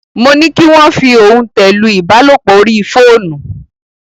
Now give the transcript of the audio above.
Mo ní kí wọ́n fi òntẹ̀ lu ìbálòpọ̀ orí fóònù.